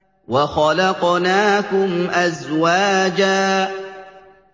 وَخَلَقْنَاكُمْ أَزْوَاجًا